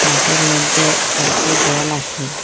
মাঠের মদ্যে একটু জল আসে।